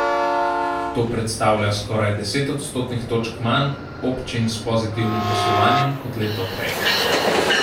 To predstavlja skoraj deset odstotnih točk manj občin s pozitivnim poslovanjem kot leto prej.